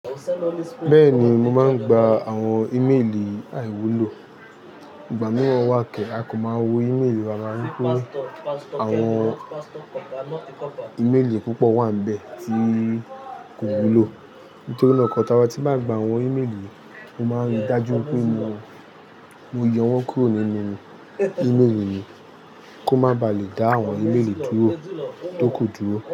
Bẹ́ẹ̀ni, mo máa ń gba àwọn íméèlì àìwúlò. Ìgbà mìíràn wà kẹ́, a kò máa wo íméèlì rárá ní pé àwọn íméèlì púpọ̀ wà n bẹ̀ tí kò wúlò. N torí nàa ko tá wa tí màá n gba àwọn íméèlì, mo máa ń rí dájú pé mo, mo yọ wọ́n kúrò nínú íméèlì mi kó má ba à lè dá àwọn íméèlì dúró tó ku dúró.